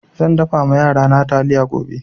Zan dafa ma yarana taliya gobe.